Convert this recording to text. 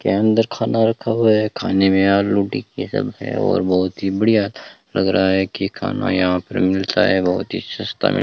के अंदर खाना रखा हुआ है खाने में आलू टिक्की सब है और बहुत ही बढ़िया लग रहा है कि खाना यहां पर मिलता है बहुत ही सस्ता --